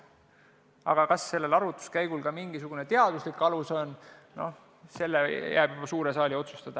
Aga kas sellel arvutuskäigul ka mingisugune teaduslik alus on, see jääb juba suure saali otsustada.